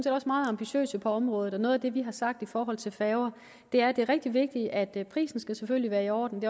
også meget ambitiøse på området noget af det vi har sagt i forhold til færger er at det er rigtig vigtigt at prisen selvfølgelig er i orden